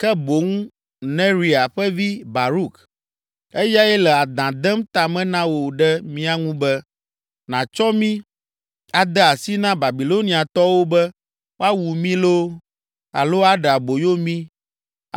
Ke boŋ Neria ƒe vi, Baruk, eyae le adã dem ta me na wò ɖe mía ŋu be, nàtsɔ mí ade asi na Babiloniatɔwo be woawu mí loo, alo aɖe aboyo mí